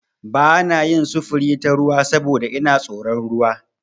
Ba na yin sufuri ta ruwa saboda ina da tsoron ruwa.